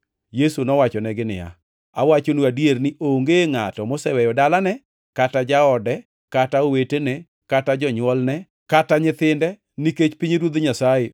Yesu nowachonegi niya, “Awachonu adier ni, onge ngʼato moseweyo dalane kata jaode kata owetene, kata jonywolne, kata nyithinde nikech pinyruoth Nyasaye